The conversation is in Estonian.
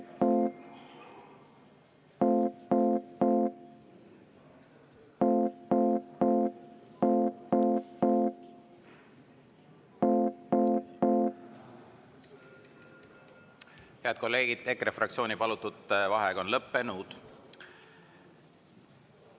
Head kolleegid, EKRE fraktsiooni palutud vaheaeg on lõppenud.